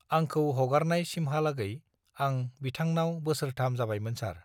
आंखौ हगारनाय सिमहालागै आं बिथांनाव बोसोरथाम जाबायमोन सार